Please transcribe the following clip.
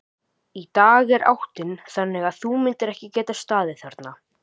Í dag er áttin þannig að þú myndir ekki geta staðið þarna.